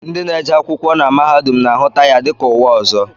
Ndị na-eje akwụkwọ na mahadum na-ahụta ya dịka ụwa ọzọ